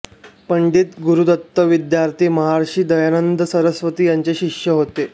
पंडित गुरूदत्त विद्यार्थी महर्षि दयानंद सरस्वती यांचे शिष्य होते